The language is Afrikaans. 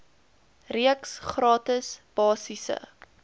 reeks gratis basiese